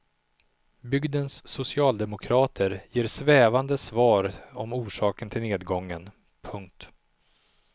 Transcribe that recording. Bygdens socialdemokrater ger svävande svar om orsaken till nedgången. punkt